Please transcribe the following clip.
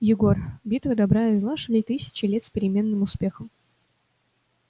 егор битвы добра и зла шли тысячи лет с переменным успехом